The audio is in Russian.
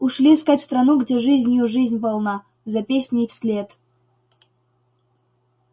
ушли искать страну где жизнью жизнь полна за песней вслед